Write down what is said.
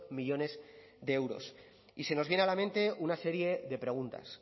millónes de euros y se nos viene a la mente una serie de preguntas